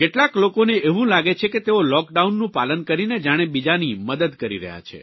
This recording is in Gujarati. કેટલાક લોકોને એવું લાગે છે કે તેઓ લૉકડાઉનનું પાલન કરીને જાણે બીજાની મદદ કરી રહ્યા છે